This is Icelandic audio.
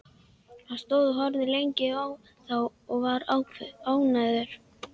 Hann stóð og horfði lengi á þá og var ánægður.